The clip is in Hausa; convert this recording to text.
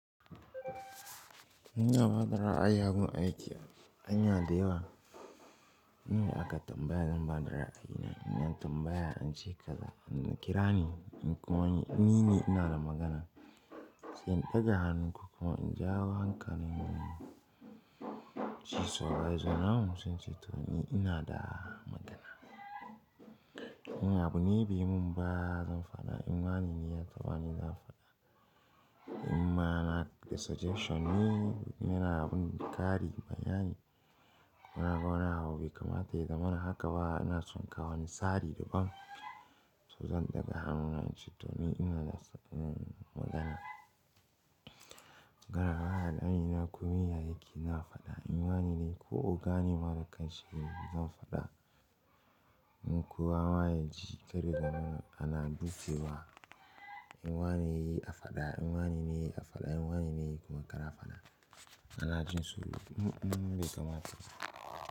Ina ba da ra'ayi abu na yake, hanya da yawa. Inda aka tambaya zan ba da ra'ayi na. In an tambaya an ce kaza an kira ni in kuwa an yi mini ina da magana. Sai in ɗaga hannun ko kuma in jawo hankalin shu supervisor namu sao in ceto ni ina da magana. In abu ne bai mun ba zan faɗa in wanene ya taba ni zan faɗa. In ma na da suggestion ne, yana mun ƙari ma'ana. Na ga wani abu bai kamata ya zamana haka ba na son kawo wani tsari daban. To zan ɗaga hannuna in ceto ni ina da magana. Gara wahala Amina kuma ya yake ina faɗa in wanene ko ogane mara kanshi zan faɗa. Don kowa ma yaji ƙarin gano ana dukewa in ma menene ya yi a faɗa, in wanene ya yi a faɗa, in wanene ya yi kuma ƙara faɗa. Ana jin sulhu mun mun dai kamar dai.